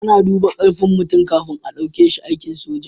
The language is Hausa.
A na duba karfin mutum kafin a dauke shi aikin soja